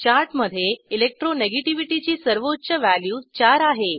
चार्टमधे electro negativity ची सर्वोच्च value 4 आहे